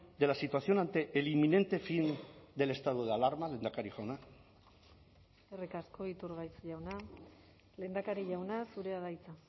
de la situación ante el inminente fin del estado de alarma lehendakari jauna eskerrik asko iturgaiz jauna lehendakari jauna zurea da hitza